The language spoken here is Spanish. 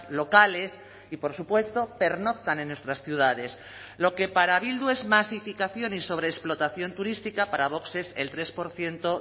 locales y por supuesto pernoctan en nuestras ciudades lo que para bildu es masificación y sobreexplotación turística para vox es el tres por ciento